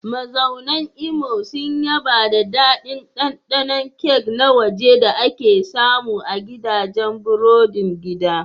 Mazaunan Imo sun yaba da daɗin ɗanɗanon kek na waje da ake samu a gidajen burodin gida.